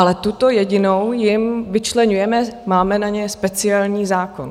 Ale tuto jedinou jim vyčleňujeme, máme na ně speciální zákon.